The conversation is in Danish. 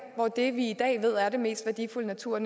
hvor det vi i dag ved er den mest værdifulde natur